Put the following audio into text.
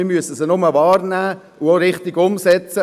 wir müssen sie nur wahrnehmen und Entscheide richtig umsetzen.